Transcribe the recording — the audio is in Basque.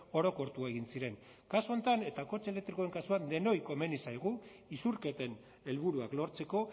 orokortu egin ziren kasu honetan eta kotxe elektrikoen kasuan denoi komeni zaigu isurketen helburuak lortzeko